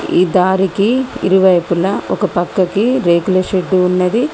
ఈ దారికి ఇరువైపులా ఒక పక్కకి రేకుల షెడ్డు ఉన్నది.